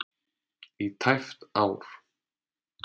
í tæpt ár.